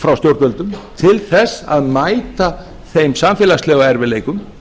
frá stjórnvöldum til þess að mæta þeim samfélagslegu erfiðleikum